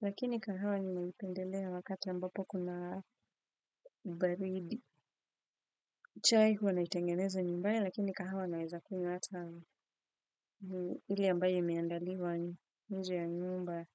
lakini kahawa ninaipendelea wakati ambapo kuna baridi. Chai huwa naitengeneza nyumbaya lakini kahawa naweza kunywa hata hile ambayo imeandaliwa nje ya nyumba.